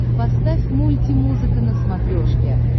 поставь мульти музыка на смотрешке